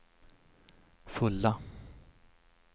fulla